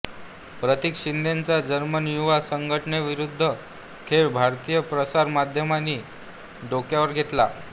प्रतीक शिंदेचा जर्मन युवा संघाविरुद्धचा खेळ भारतीय प्रसार माध्यमांनी डोक्यावर घेतला